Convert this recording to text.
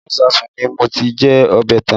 Inú ìsáàsùn ni mo ti jẹ ọbẹ̀ tán